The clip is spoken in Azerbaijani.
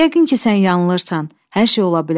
Yəqin ki, sən yanılırsan, hər şey ola bilər.